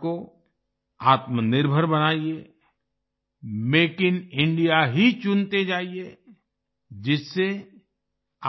भारत को आत्मनिर्भर बनाइए मेक इन इंडिया ही चुनते जाइए जिससे